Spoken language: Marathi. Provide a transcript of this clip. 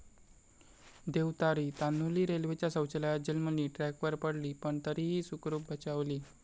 देव तारी...', तान्हुली रेल्वेच्या शौचालयात जन्मली, ट्रॅकवर पडली पण तरीही सुखरूप बचावली